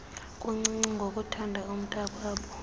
buncinci ngokuthanda umntaakwabo